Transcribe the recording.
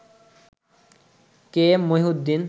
কে M Mohiuddin